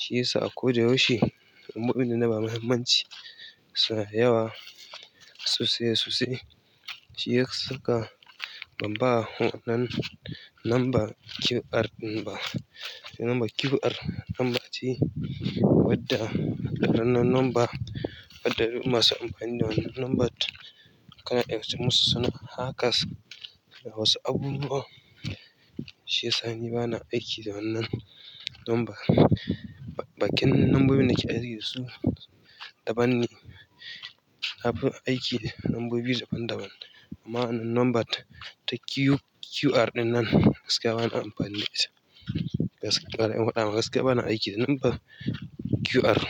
Shiyasa a ko da yaushe muhimmanci suna da yawa sosai sosai. Shi ya saka ban ba wannan lamba QR lamba, lamba QR, lamba ce wadda ranar lamba, wadda masu amfani da wannan lambar ka na iya musu suna. Hackers da wasu abubuwa, shi ya sa ni ba na aiki da wannan lamba. Bakin lambobin da ke aiki su daban ne. Abun aiki lambobi daban-daban. Amma wannan lambar ta QR ɗinnan gaskiya ba na amfani da shi. Gaskiya bari ihwada ma gaskiya ba na aiki da lamba QR.